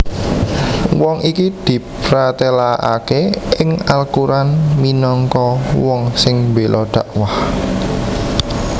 Wong iki diprtélakaké ing Al Quran minangka wong sing mbéla dhakwah